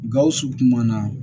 Gawusu kuma na